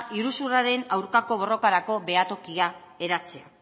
iruzurraren aurkako borrokarako behatokia eratzea